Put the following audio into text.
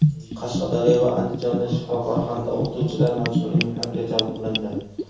Qashqadaryo va Andijonda shifokor hamda o‘qituvchilar majburiy mehnatga jalb qilindi.